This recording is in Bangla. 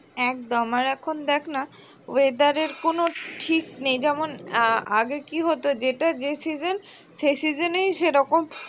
একদম আর এখন দেখ না weather র কোন ঠিক নেই যেমন আআগে কি হতো যেটা যে season সেই season এই সেরকম